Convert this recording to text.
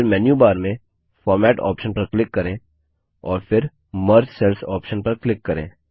फिर menu bar में format option पर क्लिक करें और फिर मर्ज सेल्स ऑप्शन पर क्लिक करें